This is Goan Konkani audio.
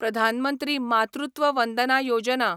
प्रधान मंत्री मातृत्व वंदना योजना